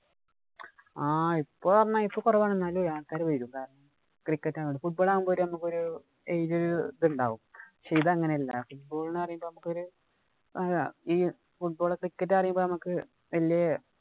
ആഹ് ഇപ്പൊ പറഞ്ഞ ഇപ്പൊ കൊറവാണ്. എന്നാലും ആള്‍ക്കാര് വരും. കാരണം cricket ആയോണ്ട്. Football ആകുമ്പോ നമുക്കൊരു age ഇതുണ്ടാകും. പക്ഷേ ഇത് അങ്ങനെയല്ല. Football എന്ന് പറയുമ്പോ നമുക്കൊരു അല്ല ഈ football cricket എന്ന് പറയുമ്പോ നമ്മക്ക് വല്യ